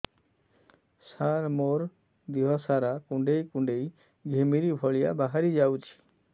ସାର ମୋର ଦିହ ସାରା କୁଣ୍ଡେଇ କୁଣ୍ଡେଇ ଘିମିରି ଭଳିଆ ବାହାରି ଯାଉଛି